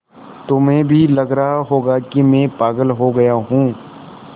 तुम्हें भी लग रहा होगा कि मैं पागल हो गया हूँ